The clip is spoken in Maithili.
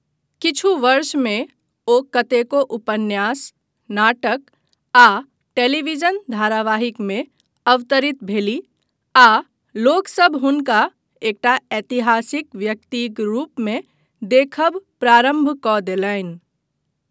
किछु वर्षमे ओ कतेको उपन्यास, नाटक आ टेलीविजन धारावाहिकमे अवतरित भेलीह आ लोकसभ हुनका एकटा ऐतिहासिक व्यक्तिक रूपमे देखब प्रारम्भ कऽ देलनि।